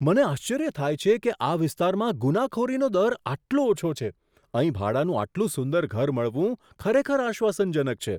મને આશ્ચર્ય થાય છે કે આ વિસ્તારમાં ગુનાખોરીનો દર આટલો ઓછો છે! અહીં ભાડાનું આટલું સુંદર ઘર મળવું ખરેખર આશ્વાસનજનક છે.